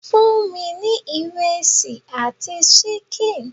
Fún mi ní ìrẹsì àti ṣíkìn!